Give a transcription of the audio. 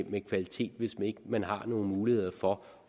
med kvalitet hvis ikke man har nogen muligheder for